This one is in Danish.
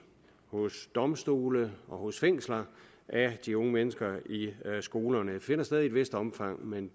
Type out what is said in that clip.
domstole og fængsler af de unge mennesker i skolerne det finder sted i et vist omfang men